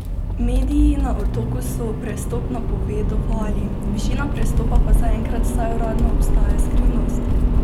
Mediji na Otoku so prestop napovedovali, višina prestopa pa zaenkrat vsaj uradno ostaja skrivnost.